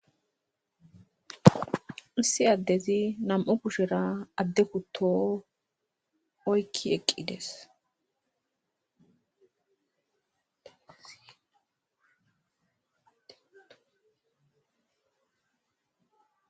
Issi addezi nam7u adde kutto kushen oykki eqqides.